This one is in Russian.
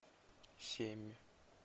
семь